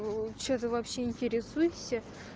чего ты вообще интересуешься